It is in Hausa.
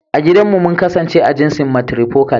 I gidan mu mun kasance a jinsin "Matrifocal ".